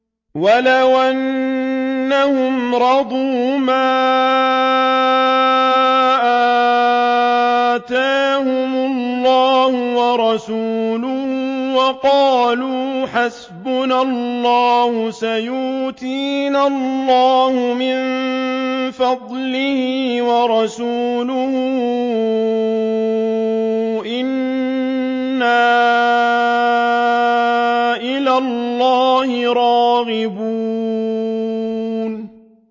وَلَوْ أَنَّهُمْ رَضُوا مَا آتَاهُمُ اللَّهُ وَرَسُولُهُ وَقَالُوا حَسْبُنَا اللَّهُ سَيُؤْتِينَا اللَّهُ مِن فَضْلِهِ وَرَسُولُهُ إِنَّا إِلَى اللَّهِ رَاغِبُونَ